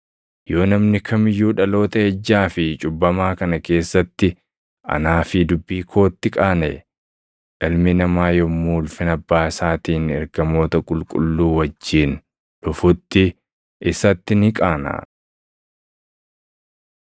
Yoo namni kam iyyuu dhaloota ejjaa fi cubbamaa kana keessatti anaa fi dubbii kootti qaanaʼe, Ilmi Namaa yommuu ulfina Abbaa isaatiin ergamoota qulqulluu wajjin dhufutti isatti ni qaanaʼa.”